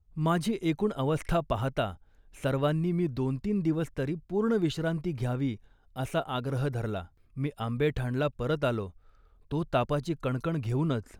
माझी एकूण अवस्था पाहता सर्वांनी मी दोनतीन दिवसतरी पूर्ण विश्रांती घ्यावी असा आग्रह धरला. मी आंबेठाणला परत आलो, तो तापाची कणकण घेऊनच